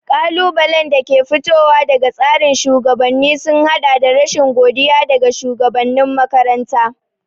Ƙalubalen da ke fitowa daga tsarin shugabanni sun haɗa da rashin godiya daga shugabanin makaranta.